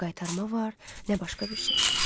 Nə qaytarma var, nə başqa bir şey.